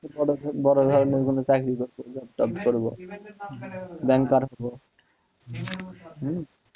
বড় ভাইদের মতো চাকরি হচ্ছে চাকরি করব, ব্যাংকার হব,